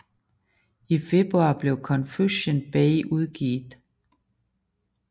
I februar blev Confusion Bay udgivet